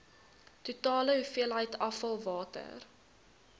totale hoeveelheid afvalwater